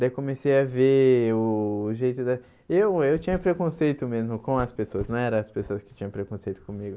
Daí comecei a ver o o jeito da... Eu eu tinha preconceito mesmo com as pessoas, não eram as pessoas que tinham preconceito comigo.